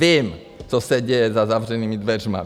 Vím, co se děje za zavřenými dveřmi.